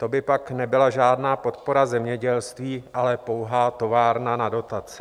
To by pak nebyla žádná podpora zemědělství, ale pouhá továrna na dotace.